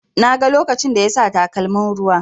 Na ga lokacin da yasa takalmin ruwa.